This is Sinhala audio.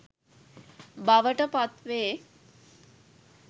බවට පත් වේ.